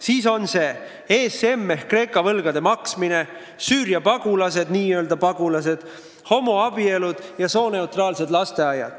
Siis on see ESM ehk Kreeka võlgade maksmine, Süüria pagulased – n-ö pagulased –, homoabielud ja sooneutraalsed lasteaiad.